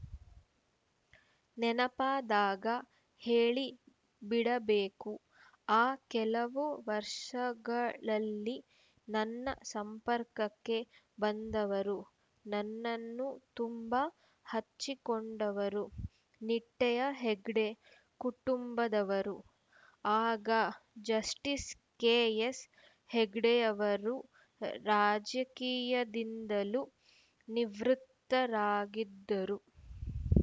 ನೆನಪಾದಾಗ ಹೇಳಿ ಬಿಡಬೇಕು ಆ ಕೆಲವು ವರ್ಷಗಳಲ್ಲಿ ನನ್ನ ಸಂಪರ್ಕಕ್ಕೆ ಬಂದವರು ನನ್ನನ್ನು ತುಂಬ ಹಚ್ಚಿಕೊಂಡವರು ನಿಟ್ಟೆಯ ಹೆಗ್ಡೆ ಕುಟುಂಬದವರು ಆಗ ಜಸ್ಟೀಸ್‌ ಕೆಎಸ್‌ ಹೆಗ್ಡೆಯವರು ರಾಜಕೀಯದಿಂದಲು ನಿವೃತ್ತರಾಗಿದ್ದರು